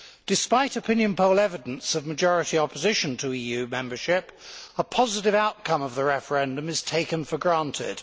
Despite opinion poll evidence of majority opposition to EU membership, a positive outcome of the referendum is taken for granted.